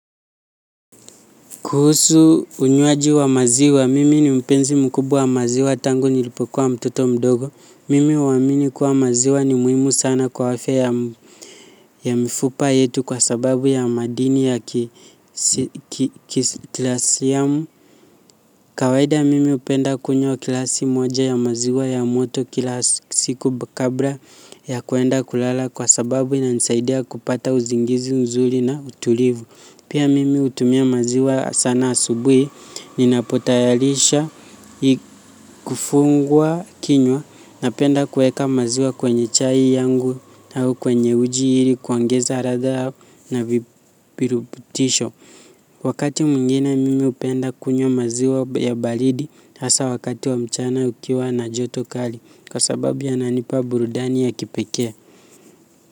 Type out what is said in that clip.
Kuhusu unywaji wa maziwa, mimi ni mpenzi mkubwa wa maziwa tangu nilipokuwa mtoto mdogo. Mimi huamimi kuwa maziwa ni muhimu sana kwa afya ya mifupa yetu kwa sababu ya madini ya kalsiamu. Kawaida mimi hupenda kunywa gilasi moja ya maziwa ya moto kila siku kabla ya kuenda kulala kwa sababu inanisaidia kupata uzingizi nzuri na utulivu. Pia mimi hutumia maziwa sana asubuhi ni napo tayarisha kufungua kinywa napenda kuweka maziwa kwenye chai yangu na kwenye uji ili kuongeza ladha na vipiruputisho. Wakati mwingine mimi hupenda kunywa maziwa ya baridi hasa wakati wa mchana ukiwa na joto kali kwa sababu yananipa burudani ya kipekee.